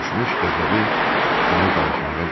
Coşmuş qəzəbi onu danışmağa qoymurdu.